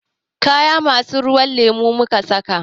Kaya masu kalan ruwan lemo muka saka.